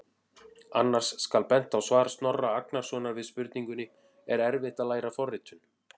Annars skal bent á svar Snorra Agnarsson við spurningunni: Er erfitt að læra forritun?